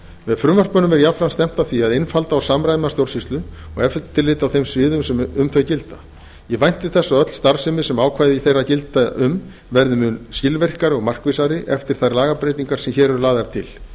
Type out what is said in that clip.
með frumvörpunum er jafnframt stefnt að því að einfalda og samræma stjórnsýslu og eftirlit á þeim sviðum sem um þau gilda ég vænti þess að öll starfsemi sem ákvæði þeirra gilda um verði mun skilvirkari og markvissari eftir þær lagabreytingar sem hér eru lagðar til